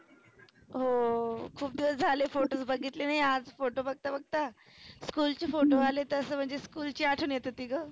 हो खुप दिवस झाले photos बघितले नाही. आज photos बघता बघता school चे photo आले तसं म्हणजे school ची आठवन येत होती ग.